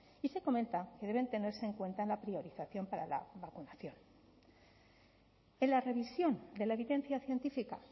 y se comenta que deben tenerse en cuenta en la priorización para la vacunación en la revisión de la evidencia científica